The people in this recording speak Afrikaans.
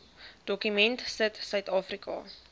dokument sit suidafrika